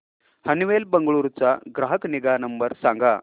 Honeywell Bengaluru चा ग्राहक निगा नंबर सांगा